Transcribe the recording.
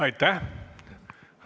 Aitäh!